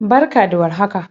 barka da war haka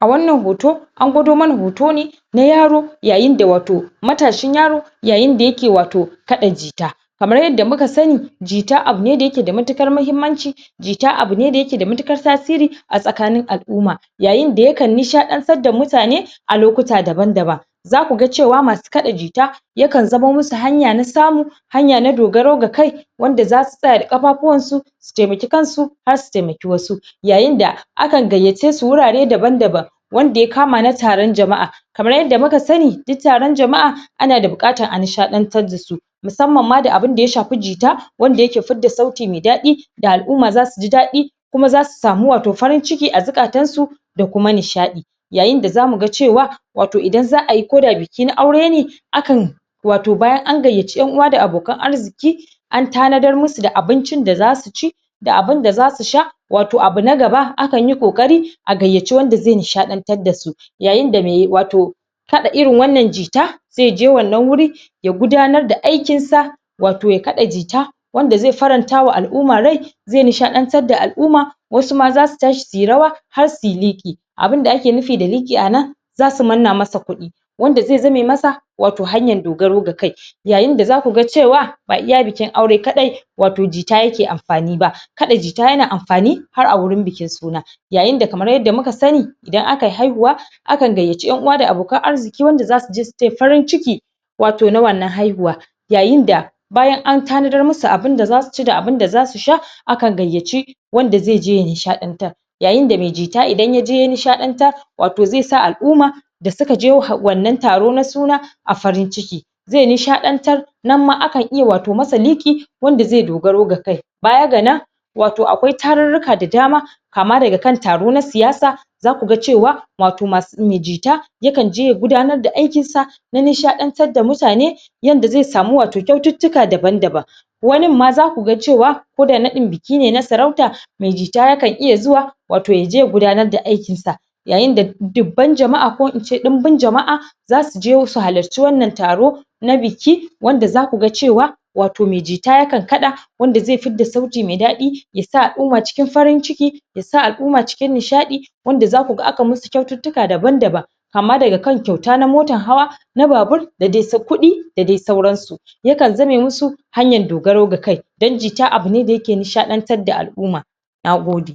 a wannan hoto an gwado mana hoto ne na yaro yayin da wato matashin yaro yayin da yake wato kaɗa jita kamar yadda muka sani jita abune da yake da matukar mahimmanci jita abune da ayake da matukar tasiri a tsakanin al'umma yayi da yakan nishadantar da mutane a lokuta daban daban zakuga cewa masu kaɗa jita ya kan zamo musu hanya na samu hanya na dogaro ga kai wanda zasu tsaya da kafafuwan su su taimake kan su har su taimake wasu yayin da akan gayyace su wurare daban daban wanda ya kama na taron jama'a kamar yadda muka sani shi taron jama'a ana da bukatan a nishadantar da su musamman ma da abun da ya shafe jita wanda yake fidda sauti mai dadi da al'umma zasu ji dadi kuma zasu samu wato farin ciki a zukatan su da kuma nishaɗi yayi da zamu ga cewa idan za'ayi koda biki na aure ne akan wato bayan an gayyace en'uwa da abokan arziki an tanadar musu da abincin da zasu ci da abun da zasu sha wato abu na gaba akan yi kokari a gayyace wanda zai nishaɗantar dasu yayi da mai wato kaɗa irin wannan jita ze je wannan wuri ya gudanar da aikin sa wato ya kaɗa jita wanda zai faranta wa al'umma rai zai nishadantar da al'umma wasu ma zasu tashi suyi rawa har suyi liƙi abunda ake nufi da liƙi anan zasu manna masa kuɗi wanda zai zamo masa wato hanyan dogaro ga kai yayin da zaku ga cewa ba iya bikin aure kadai wato jita yake amfani ba jita yana amfani har a wurin bikin suna yayi da kaman yarda muka sani idan akyi haihuwa akan gayyace en'uwa da abokan arziki wanda zasu je su taya farin ciki wato na wannan haihuwar yayin da bayan an tanadar musu abun da zasu ci da abun da zasu sha akan gayyaci wanda zai je ya nishadantar yayin da mai jita idan ya je ya nishadantar wato zai sa al'umma da zuka je wannan taro na suna a farin ciki zai nishaɗantar nana ma akan ma iya wata masa liki wanda zai dogaro ga a kai wato akwai tarurruka da dama kama daga kan taro na siyasa zaku ga cewa wato mai jita yakanje ya gudanar da aikin sa na nishaɗantar da mutane yanda zai samu wato kyaututtuka daban daban wanin ma zaka ga cewa ko da naɗi biki ne na sarauta mai jita yakan iya zuwa wato yaje ya gudanar da aikin sa yayin da dubban jama'a ko ince dunbum jama'a zasuje su halirce wannan taro na biki wanda zaka ga cewa wato mai jita ya kan kaɗa wanda zai fidda sauti mai daɗi ya sa al'umma cikin farin ciki yasa alumma cikin nishaɗi wanda zaku ga aka musu kyaututtuka daban daban kama daga kan kyauta na motan hawa na babur da Kudi da dai sauran su yakan zame musu hanyan dogarau da kai dan jita abune da yake nishadantar da al'umma nagode